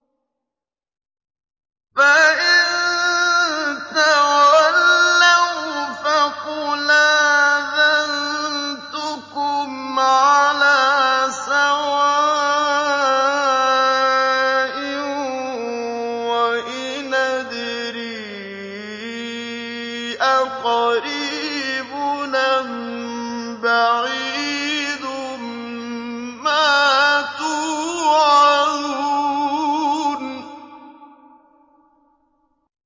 فَإِن تَوَلَّوْا فَقُلْ آذَنتُكُمْ عَلَىٰ سَوَاءٍ ۖ وَإِنْ أَدْرِي أَقَرِيبٌ أَم بَعِيدٌ مَّا تُوعَدُونَ